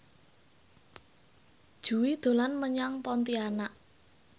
Jui dolan menyang Pontianak